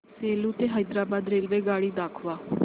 सेलू ते हैदराबाद रेल्वेगाडी दाखवा